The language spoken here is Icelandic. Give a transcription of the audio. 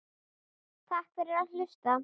Takk fyrir að hlusta.